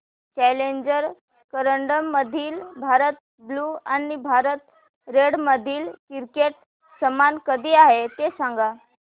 challenger करंडक मधील Bharat blue आणि भारत रेड मधील क्रिकेट सामना कधी आहे ते सांगा